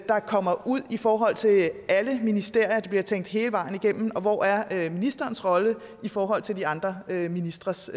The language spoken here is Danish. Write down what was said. der kommer ud i forhold til alle ministerier at det bliver tænkt hele vejen igennem og hvor er ministerens rolle i forhold til de andre ministres